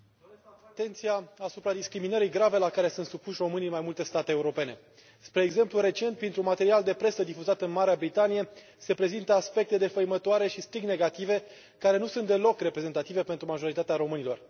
Domnule Președinte, doresc să atrag atenția asupra discriminării grave la care sunt supuși românii în mai multe state europene. Spre exemplu, recent, printr un material de presă difuzat în Marea Britanie, se prezintă aspecte defăimătoare și strict negative care nu sunt deloc reprezentative pentru majoritatea românilor.